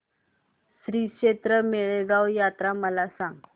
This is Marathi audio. श्रीक्षेत्र माळेगाव यात्रा मला सांग